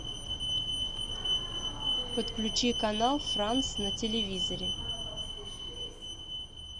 подключи канал франс на телевизоре